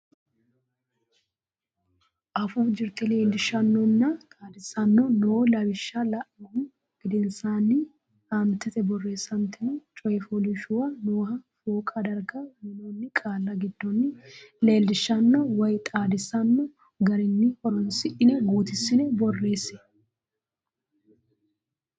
Afuu Jirte Leellishaanonna Xaadisaano noo lawishsha la inihu gedensaanni aantete borreessantino coy fooliishshuwa nooha fooqa darga uynoonni qaalla giddonni leellishaano woy xaadisaano garunni horonsidhine guutissine borreesse.